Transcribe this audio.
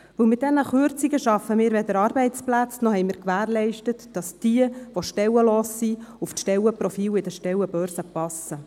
Mit diesen Kürzungen schaffen wir weder Arbeitsplätze, noch haben wir gewährleistet, dass diejenigen, die stellenlos sind, auf die Stellenprofile in den Stellenbörsen passen.